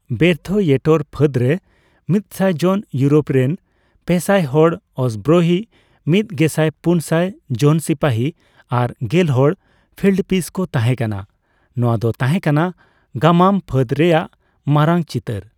ᱵᱮᱨᱛᱷᱭᱮᱴᱮᱨ ᱯᱷᱟᱹᱫ ᱨᱮ ᱢᱤᱛᱥᱟᱭ ᱡᱚᱱ ᱤᱭᱩᱨᱳᱯ ᱨᱮᱱ, ᱯᱮᱥᱟᱭ ᱦᱟᱲ ᱚᱥᱵᱨᱳᱦᱤ, ᱢᱤᱛ ᱜᱮᱥᱟᱭ ᱯᱩᱱ ᱥᱟᱭ ᱡᱚᱱ ᱥᱤᱯᱟᱹᱦᱤ ᱟᱨ ᱜᱮᱞ ᱦᱚᱲ ᱯᱷᱤᱞᱰ ᱯᱤᱥ ᱠᱚ ᱛᱟᱸᱦᱮ ᱠᱟᱱᱟ ᱼ ᱱᱚᱣᱟ ᱫᱚ ᱛᱟᱸᱦᱮ ᱠᱟᱱᱟ ᱜᱟᱢᱟᱢ ᱯᱷᱟᱹᱫ ᱨᱮᱭᱟᱜ ᱢᱟᱨᱟᱝ ᱪᱤᱛᱟᱹᱨ ᱾